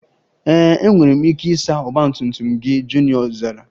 Ee, enwere m ike ịsa ọgba tum tum gị, Junior zara